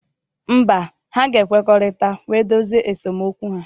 Mba, ha ga-ekwekọrịta wee dozie esemokwu ha.